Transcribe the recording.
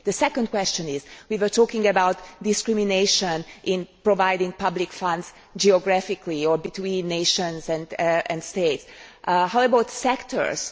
The second question is we were talking about discrimination in providing public funds geographically or between nations and states how about sectors?